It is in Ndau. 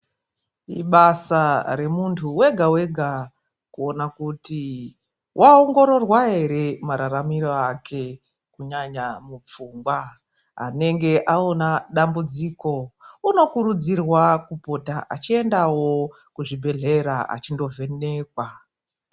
Ibasa remuntu wega wega kuona kuti waongororwa ere mararamire ake, kunyanya mupfungwa. Anenge aona dambudziko unokurudzirwa kupota achiendawo kuchibhehlera achindovhenekwa.